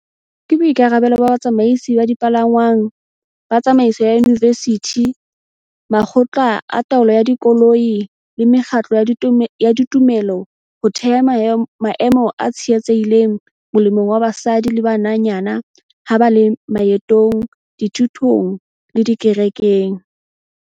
Ke boikarabelo ba batsamaisi ba dipalangwang, ba tsamaiso ya diyunivesithi, makgotla a taolo ya dikolo le mekgatlo ya tumelo ho theha maemo a tshireletsehileng molemong wa basadi le bananyana ha ba le maetong, dithutong le dikerekeng.